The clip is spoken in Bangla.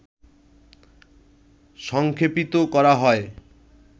সংক্ষেপিত করা হয়